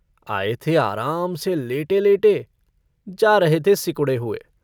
आये थे आराम से लेटे-लेटे, जा रहे थे सिकुड़े हुए।